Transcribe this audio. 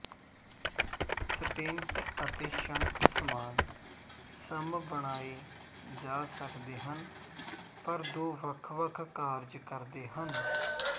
stent ਅਤੇ shunt ਸਮਾਨ ਸਮੱ ਬਣਾਏ ਜਾ ਸਕਦੇ ਹਨ ਪਰ ਦੋ ਵੱਖਵੱਖ ਕਾਰਜ ਕਰਦੇ ਹਨ